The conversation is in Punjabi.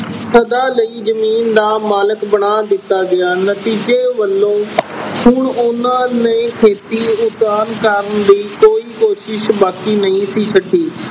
ਸਦਾ ਲਈ ਜ਼ਮੀਨ ਦਾ ਮਾਲਕ ਬਣਾ ਦਿੱਤਾ ਗਿਆ। ਨਤੀਜੇ ਵਜੋਂ ਅਹ ਹੁਣ ਉਹਨਾਂ ਨੇ ਖੇਤੀ ਉਥਾਨ ਕਰਨ ਲਈ ਕੋਈ ਕੋਸ਼ਿਸ਼ ਬਾਕੀ ਨਹੀਂ ਛੱਡੀ।